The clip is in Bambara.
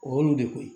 O y'olu de ko ye